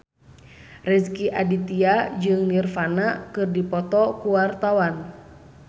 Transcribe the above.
Rezky Aditya jeung Nirvana keur dipoto ku wartawan